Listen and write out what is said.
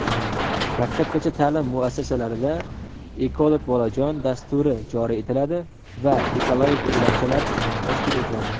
Maktabgacha taʼlim muassasalarida "Ekolog bolajon" dasturi joriy etiladi va "Ekologik yo‘lakchalar" tashkil etiladi.